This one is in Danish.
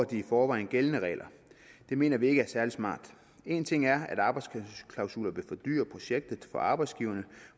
de i forvejen gældende regler det mener vi ikke er særlig smart en ting er at arbejdsklausuler vil fordyre projektet for arbejdsgiverne